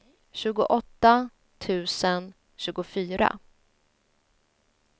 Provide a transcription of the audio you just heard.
tjugoåtta tusen tjugofyra